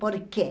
Por quê?